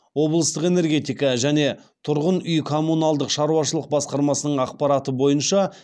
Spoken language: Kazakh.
облыстық энергетика және тұрғын үй коммуналдық шаруашылық басқармасының ақпараты бойынша